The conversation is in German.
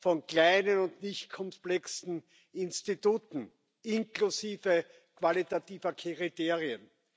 von kleinen und nichtkomplexen Instituten, inklusive qualitativer Kriterien.